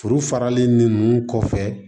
Foro faralen nin kɔfɛ